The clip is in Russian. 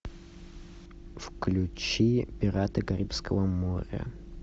включи пираты карибского моря